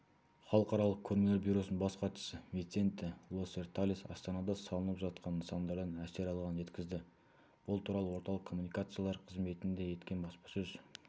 халықаралық көрмелер бюросының бас хатшысы висенте лоссерталес астанада салынып жатқан нысандардан әсер алғанын жеткізді бұл туралы орталық коммуникациялар қызметінде өткен баспасөз